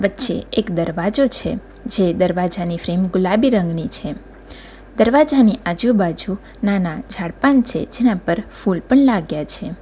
વચ્ચે એક દરવાજો છે જે દરવાજાની ફ્રેમ ગુલાબી રંગની છે દરવાજાની આજુબાજુ નાના જાડપાન છે જેના પર ફુલ પણ લાગ્યા છે.